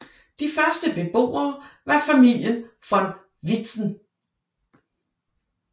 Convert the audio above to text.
De første beboere var familien von Vitzen